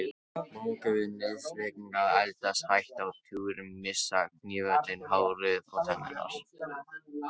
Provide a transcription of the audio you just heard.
Móðgun við neysluhyggjuna að eldast, hætta á túr, missa kynhvötina, hárið, tennurnar.